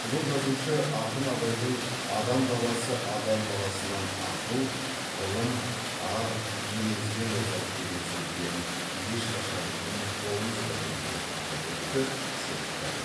ұлы жазушы ақын абайдың адам баласы адам баласынан ақыл ғылым ар мінезбен озады деген сөздерін ешқашан ұмытпауымыз қажет деп атап өтті серікбаев